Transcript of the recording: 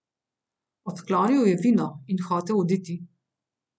Odklonil je vino in hotel oditi.